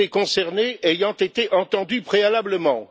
député concerné ayant été entendu préalablement.